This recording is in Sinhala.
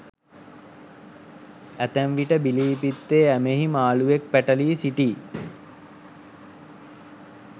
ඇතැම් විට බිලී පිත්තේ ඇමෙහි මාළුවෙක් පැටලී සිටියි.